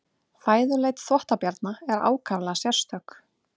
Fæðuleit þvottabjarna er ákaflega sérstök.